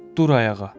Dur ayağa.